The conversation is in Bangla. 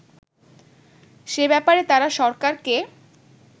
সে ব্যাপারে তারা সরকারকে